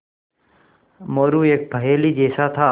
मोरू एक पहेली जैसा था